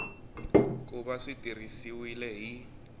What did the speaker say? ku va swi tirhisiwile hi